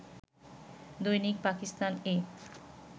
দৈনিক পাকিস্তান-এ